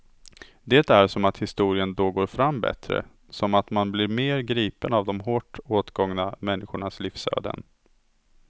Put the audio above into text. Det är som att historien då går fram bättre, som att man blir mer gripen av de hårt åtgångna människornas livsöden.